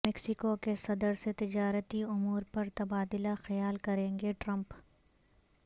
Mexico کے صدر سے تجارتی امور پر تبادلہ خیال کریں گے ٹرمپ